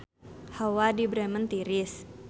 Hawa di Bremen tiris